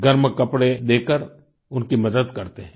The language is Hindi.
गर्म कपड़े देकर उनकी मदद करते हैं